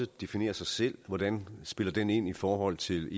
definere sig selv hvordan spiller det ind i forhold til